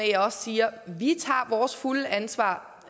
jeg også siger at vi tager vores fulde ansvar